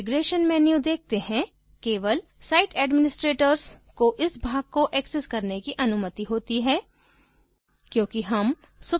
अब configuration menu देखते हैं केवल site administrators को इस भाग को access करने की अनुमति होती है